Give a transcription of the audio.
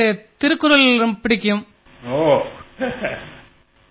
எனக்குத் திருக்குறள் மிகவும் பிடிக்கும் ஐயா